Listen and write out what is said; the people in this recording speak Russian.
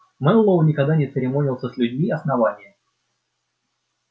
мэллоу никогда не церемонился с людьми основания